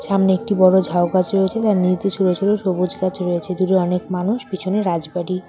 সামনে একটি বড় ঝাউ গাছ রয়েছে তার নিচ দিয়ে ছোট ছোট সবুজ গাছ রয়েছে দূরে অনেক মানুষ পিছনে রাজবাড়ি।